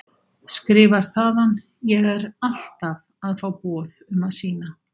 Skrifar þaðan: Ég er alltaf að fá boð um að sýna.